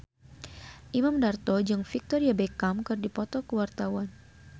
Imam Darto jeung Victoria Beckham keur dipoto ku wartawan